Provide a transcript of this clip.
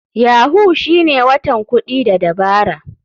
Yahoo shine watan kuɗi da dabara..